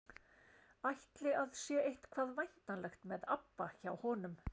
Ætli að sé eitthvað væntanlegt með ABBA hjá honum?